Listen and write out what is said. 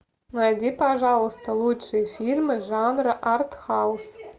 найди пожалуйста лучшие фильмы жанра артхаус